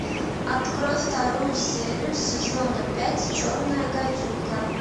открой вторую серию сезона пять черная гадюка